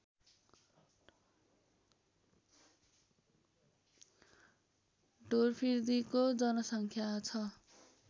ढोरफिर्दीको जनसङ्ख्या छ